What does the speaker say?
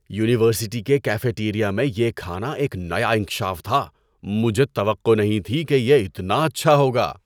University کے cafeteria میں یہ کھانا ایک نیا انکشاف تھا۔ مجھے توقع نہیں تھی کہ یہ اتنا اچھا ہوگا۔